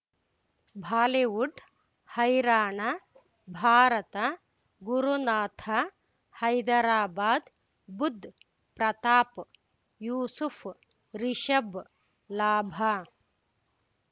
Bollywood ಹೈರಾಣ ಭಾರತ ಗುರುನಾಥ ಹೈದರಾಬಾದ್ ಬುಧ್ ಪ್ರತಾಪ್ ಯೂಸುಫ್ ರಿಷಬ್ ಲಾಭ